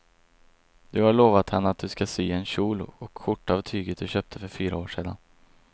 Du har lovat henne att du ska sy en kjol och skjorta av tyget du köpte för fyra år sedan.